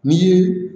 Ni